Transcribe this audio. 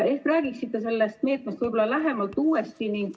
Ehk räägiksite sellest meetmest võib-olla lähemalt?